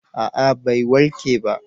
a'a bai warke ba